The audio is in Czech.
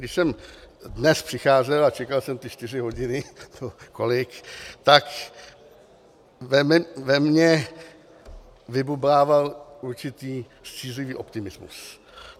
Když jsem dnes přicházel a čekal jsem ty čtyři hodiny nebo kolik, tak ve mně vybublával určitý střízlivý optimismus.